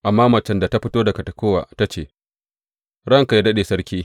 Amma macen da ta fito daga Tekowa ta ce, Ranka yă daɗe, sarki!